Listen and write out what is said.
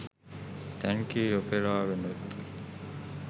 thank you ඔපෙරාවෙනුත්